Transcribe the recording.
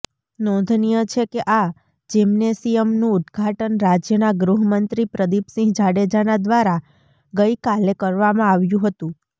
નોંધનીય છે કે આ જિમ્નેશિયમનું ઉદ્ઘાટન રાજ્યના ગૃહમંત્રી પ્રદિપસિંહ જાડેજાના દ્વારા ગઈકાલે કરવામા આવ્યું હતુ